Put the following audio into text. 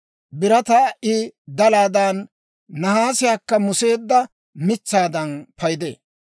Birataa I dalaadan, nahaasiyaakka museedda mitsaadan paydee.